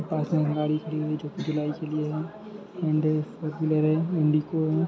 पास में एक में गाड़ी खड़ी है जो इंडिको में